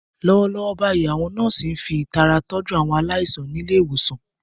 Lọ́wọ́lọ́wọ́ báyìí, àwọn nọ́ọ̀sì ń fi ìtara tọ́jú àwọn aláìsàn ní ilé ìwòsàn.